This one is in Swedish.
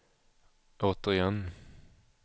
återigen